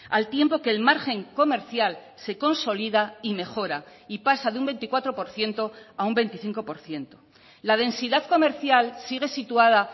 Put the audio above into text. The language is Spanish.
al tiempo que el margen comercial se consolida y mejora y pasa de un veinticuatro por ciento a un veinticinco por ciento la densidad comercial sigue situada